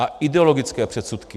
A ideologické předsudky.